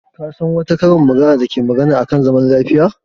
Ka san wata karin magana da take magana a kan zaman lafiya?